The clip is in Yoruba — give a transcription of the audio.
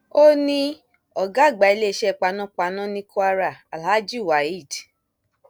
ó ní ọgá àgbà iléeṣẹ panápaná ní kwara alhaji waheed i